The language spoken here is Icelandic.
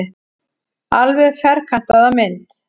Alveg ferkantaða mynd.